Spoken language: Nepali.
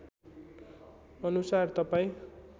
अनुसार तपाईँ